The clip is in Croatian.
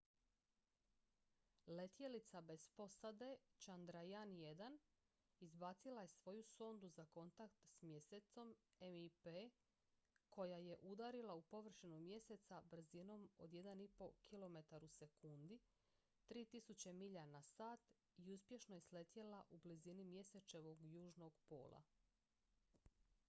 letjelica bez posade chandrayaan-1 izbacila je svoju sondu za kontakt s mjesecom mip koja je udarila u površinu mjeseca brzinom od 1,5 km/s 3000 milja na sat i uspješno je sletjela u blizini mjesečevog južnog pola